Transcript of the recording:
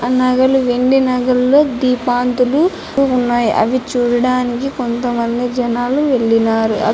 ఆ నగలు వెండి నగల్లో దీపంతులు ఉన్నాయి. అవి చూడటానికి కొంత మంది జనాలు వెళ్ళినారు.